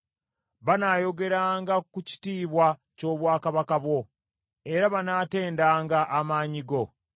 Banaayogeranga ku kitiibwa ky’obwakabaka bwo, era banaatendanga amaanyi go.